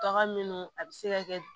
Bagan minnu a bɛ se ka kɛ